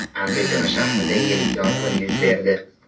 Andijon shahrida yirik yong‘in yuz berdi .